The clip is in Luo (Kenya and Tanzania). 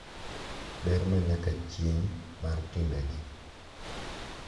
Ber ma nyaka chieng’ mar timbe gi